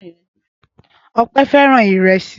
Ọpẹ́ fẹ́ràn ìrẹsì.